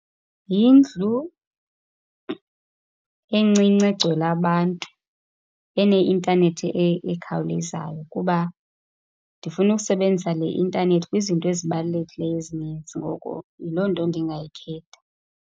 Yindlu encinci egcwele abantu eneintanethi ekhawulezayo kuba ndifuna ukusebenzisa le intanethi kwizinto ezibalulekileyo ezininzi, ngoko yiloo nto ndingayikhetha.